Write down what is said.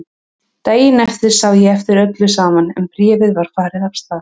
Daginn eftir sá ég eftir öllu saman en bréfið var farið af stað.